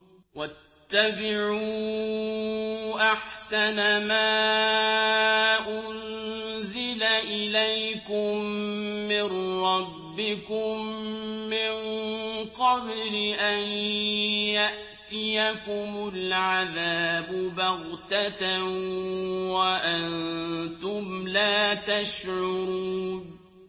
وَاتَّبِعُوا أَحْسَنَ مَا أُنزِلَ إِلَيْكُم مِّن رَّبِّكُم مِّن قَبْلِ أَن يَأْتِيَكُمُ الْعَذَابُ بَغْتَةً وَأَنتُمْ لَا تَشْعُرُونَ